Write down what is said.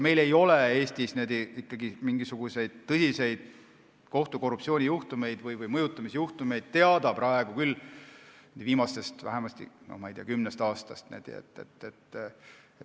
Meil ei ole Eestis mingisuguseid tõsiseid kohtukorruptsioonijuhtumeid või kohtute mõjutamise juhtumeid teada vähemasti viimasest kümnest aastast.